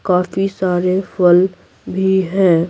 काफी सारे फल भी हैं।